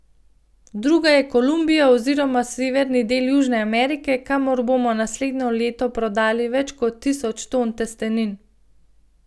Druga je Kolumbija oziroma severni del Južne Amerike, kamor bomo naslednje leto prodali več kot tisoč ton testenin.